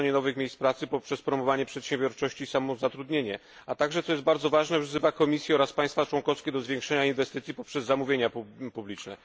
tworzenie nowych miejsc pracy poprzez promowanie przedsiębiorczości i samozatrudnienia, a także co jest bardzo ważne wzywa Komisję oraz państwa członkowskie do zwiększenia inwestycji poprzez zamówienia publiczne.